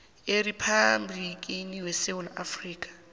eriphabhligini yesewula afrika